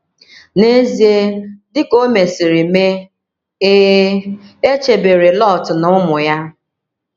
N’ezie dị ka o mesịrị mee, e, e chebere Lọt na ụmụ ya.